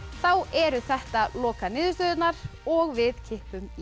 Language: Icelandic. þá eru þetta lokaniðurstöðurnar og við kippum í